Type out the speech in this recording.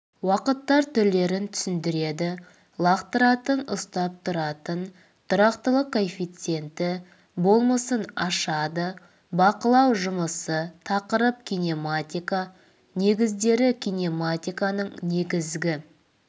уақыттар түрлерін түсіндіреді лақтыратын ұстап тұратын тұрақтылық коэффициенті болмысын ашады бақылау жұмысы тақырып кинематика негіздері кинематиканың негізгі